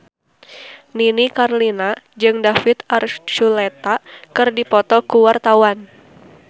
Nini Carlina jeung David Archuletta keur dipoto ku wartawan